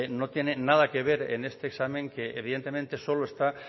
no tiene nada que ver en este examen que evidentemente solo está